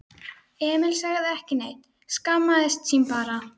Emil sagði ekki neitt, skammaðist sín bara.